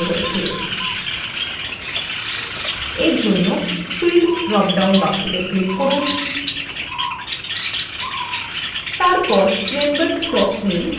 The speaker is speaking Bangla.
for জন্য fields drop down box click করুন তারপর members name click করুন